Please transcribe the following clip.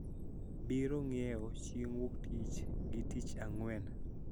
Biro ng`iewo chieng` Wuok Tich gi Tich Ang`wen